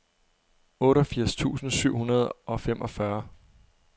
otteogfirs tusind syv hundrede og femogfyrre